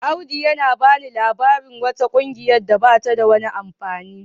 Audu yana bani labarin wata kungiyar da bata da wani amfani.